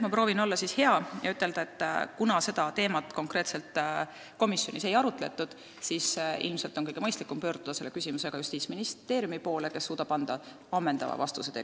Ma proovin olla hea ja ütlen, et kuna seda teemat komisjonis konkreetselt ei arutatud, siis ilmselt on kõige mõistlikum selle küsimusega pöörduda Justiitsministeeriumi poole, kes suudab anda ammendava vastuse.